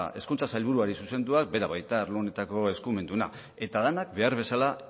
hezkuntza sailburuari zuzenduak bera baita arlo honetako eskumenduna eta denak behar bezala